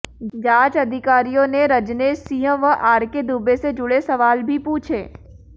जांच अधिकारियों ने रजनेश सिंह व अारके दुबे से जुड़े सवाल भी पूछे